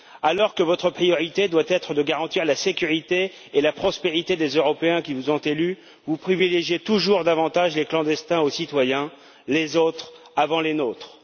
Alors que votre priorité doit être de garantir la sécurité et la prospérité des Européens qui vous ont élus, vous privilégiez toujours davantage les clandestins aux citoyens, les autres avant les nôtres.